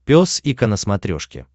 пес и ко на смотрешке